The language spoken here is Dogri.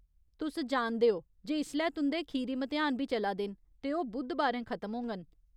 तुस जानदे ओ जे इसलै तुं'दे खीरी म्तेहान बी चला दे न ते ओह् बु़द्धबारें खत्म होङन।